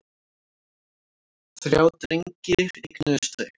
Þrjá drengi eignuðust þau.